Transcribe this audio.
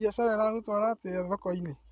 Mbiacara ĩragũtwara atĩa thokoinĩ?